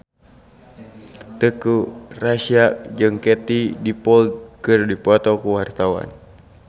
Teuku Rassya jeung Katie Dippold keur dipoto ku wartawan